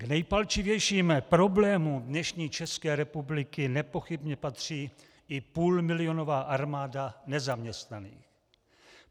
K nejpalčivějším problémům dnešní České republiky nepochybně patří i půlmilionová armáda nezaměstnaných.